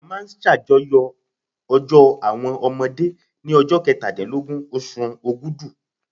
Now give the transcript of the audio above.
A máa ṣàjọyọ̀ ọjọ́ àwọn ọmọdé ní ọjọ́ kẹtàdínlógún oṣù Ògùdú.